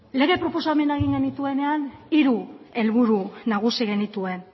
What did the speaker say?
lege proposamena egin genuenean hiru helburu nagusi genituen